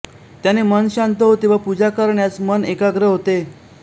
त्याने मन शांत होते व पूजा करण्यास मन एकाग्र होते